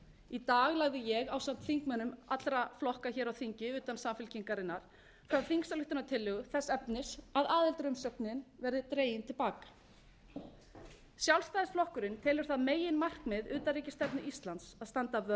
í dag lagði ég ásamt þingmönnum allra flokka hér á þingi utan samfylkingarinnar fram þingsályktunartillögu þess efnis að aðildarumsóknin verði dregin til baka sjálfstæðisflokkurinn telur það meginmarkmið utanríkisstefnu íslands að standa vörð